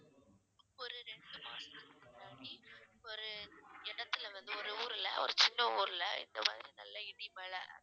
ஒரு ஒரு இடத்துல வந்து ஒரு ஊர்ல ஒரு சின்ன ஊர்ல இந்த மாதிரி நல்ல இடி மழை